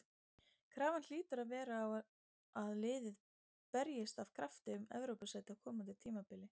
Krafan hlýtur að vera á að liðið berjist af krafti um Evrópusæti á komandi tímabili.